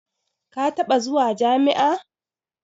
Ka taɓa zuwa jami'a?